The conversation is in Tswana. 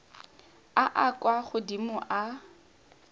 a a kwa godimo a